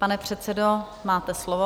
Pane předsedo, máte slovo.